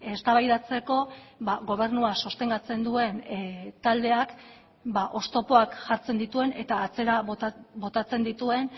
eztabaidatzeko gobernua sostengatzen duen taldeak oztopoak jartzen dituen eta atzera botatzen dituen